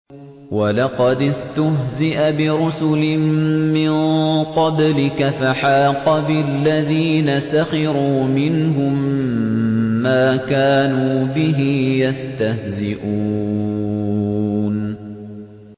وَلَقَدِ اسْتُهْزِئَ بِرُسُلٍ مِّن قَبْلِكَ فَحَاقَ بِالَّذِينَ سَخِرُوا مِنْهُم مَّا كَانُوا بِهِ يَسْتَهْزِئُونَ